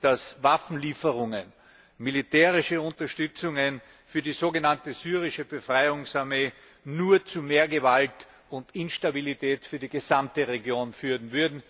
dass Waffenlieferungen, militärische Unterstützungen für die sogenannte syrische Befreiungsarmee nur zu mehr Gewalt und Instabilität für die gesamte Region führen würden.